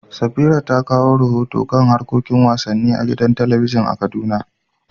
Safira ta kawo rahoto kan harkokin wasanni na gidan talabijin da ke Kaduna.